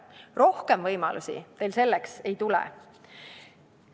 Rohkem võimalusi teil selleks ei tule.